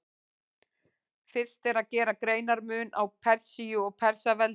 Fyrst er að gera greinarmun á Persíu og Persaveldi.